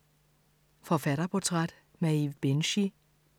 Forfatterportræt: Maeve Binchy